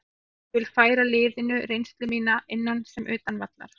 Ég vil færa liðinu reynslu mína, innan sem utan vallar.